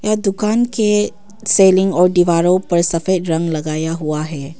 दुकान के सेलिंग और दीवारों पर सफेद रंग लगाया हुआ है।